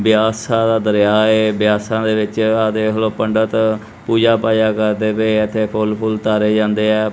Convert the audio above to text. ਬਿਆਸਾ ਦਾ ਦਰਿਆ ਏ ਬਿਆਸਾ ਦੇ ਵਿੱਚ ਆ ਦੇਖ ਲਓ ਪੰਡਿਤ ਪੂਜਾ ਪਾਜਾ ਕਰਦੇ ਪਏ ਇੱਥੇ ਫੋਲ ਫੁੱਲ ਤਾਰੇ ਜਾਂਦੇ ਆ।